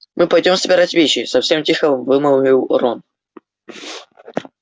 мы пойдём собирать вещи совсем тихо вымолвил рон